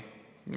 Nonii.